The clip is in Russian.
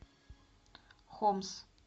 хомс